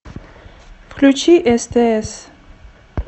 включи стс